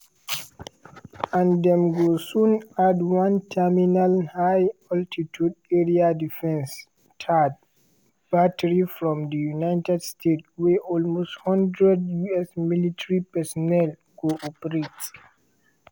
and dem go soon add one terminal high altitude area defence (thaad) battery from di united states wey almost one hundred us military personnel go operate.